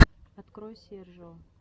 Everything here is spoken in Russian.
открой сержио